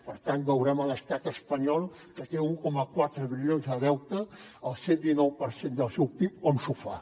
per tant veurem l’estat espanyol que té un coma quatre bilions de deute el cent dinou per cent del seu pib com s’ho fa